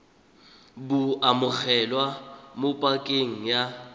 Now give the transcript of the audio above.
bo amogelwa mo pakeng ya